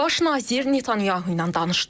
Baş nazir Netanyahu ilə danışdım.